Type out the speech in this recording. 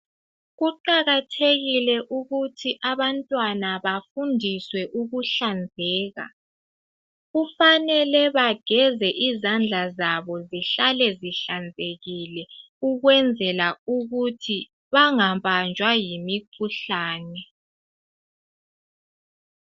Kuqakathekile ukuthi abantwana bafundiswe ukuhlanzeka. Kufanele bageze izandla zabo zihlale zihlanzekile ukwenzela ukuthi bangabanjwa yimikhuhlane